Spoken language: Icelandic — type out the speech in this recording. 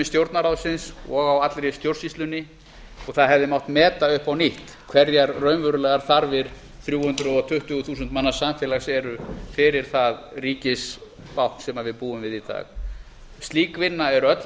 stjórnarráðsins og á allri stjórnsýslunni og það hefði mátt meta upp á nýtt hverjar raunverulegar þarfir þrjú hundruð tuttugu þúsund manna samfélags eru fyrir það ríkisbákn sem við búum við í dag slík vinna er öll